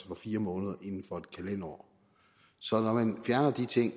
for fire måneder inden for et kalenderår så når man fjerner de ting